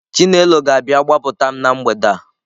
Chinelo ga-abịa gbapụta m na mgbede a.